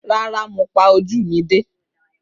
Rárá, mo pa ojú mi dé.